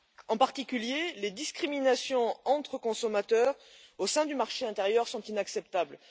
En particulier, les discriminations entre consommateurs au sein du marché intérieur sont inacceptables.